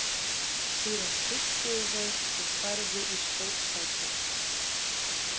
Síðan þurrkuðu þeir og færðu í stórsæti.